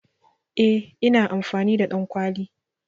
Eh ina amfani da ɗankwali.